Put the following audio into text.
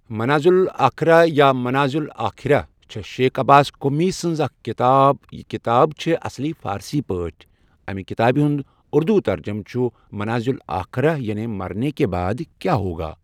منازل الاخرة یا منازل آخرہ چھےٚ شیخ عباس قمی سہنز اَکھ کتاب یہِ کتاب چھےٚ اصلی فارسی پأٹھی اَمہِ کتابہ ہُنٛد اُردوٗ ترجمہ چھ منازل آخرہ 'یعنی مرنے کے بعد کیا ہوگا'؟